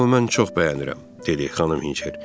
Amma mən çox bəyənirəm, dedi xanım Hinçer.